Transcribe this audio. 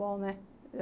Bom, né?